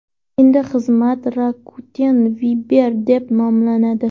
Endi xizmat Rakuten Viber deb nomlanadi.